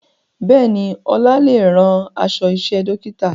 Bẹ́ẹ̀ni, Ọlá lè rán aṣọ iṣẹ́ dókítà